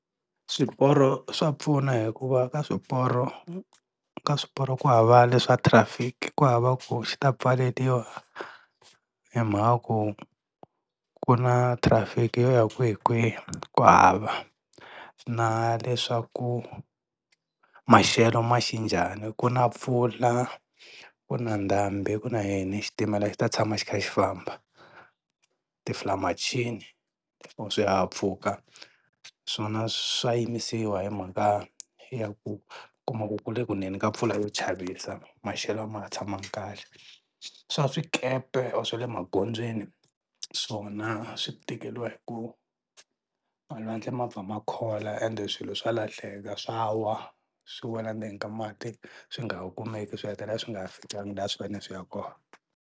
Swiporo swa pfuna hikuva ka swiporo ka swiporo ku hava leswa traffic ku hava ku xi ta pfaleliwa hi mhaka ku ku na traffic yo ya kwihikwihi ku hava, na leswaku maxelo ma xe njhani ku na mpfula, ku na ndhambi ku na yini xitimela xi ta tshama xi kha xi famba. Ti or swihahampfhuka swona swa yimisiwa hi mhaka ya ku kuma ku kule ku neni ka mpfula yo chavisa, maxelo a ma ha tshamanga kahle. Swa swikepe or swa le magondzweni swona swi tikeriwa hi ku malwandle ma pfa ma khola ende swilo swa lahleka swa wa swi wela endzeni ka mati swi nga ha kumeki swi hetelela swi nga ha fikanga laha a swi fane swi ya kona.